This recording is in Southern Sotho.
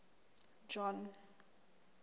john